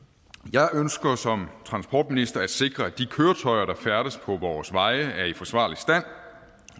jeg ønsker som transportminister at sikre at de køretøjer der færdes på vores veje er i forsvarlig stand